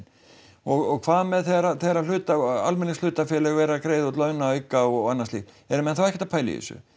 og hvað með þegar þegar að almenningshlutafélög eru að greiða launaauka og annað slíkt eru menn þá ekkert að pæla í þessu